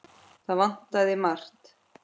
Það vantaði margt.